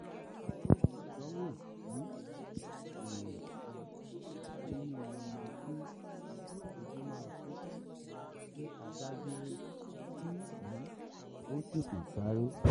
itowo um irin um ninu enu ki oju ma su ti ti a ba duro ki um o tete saare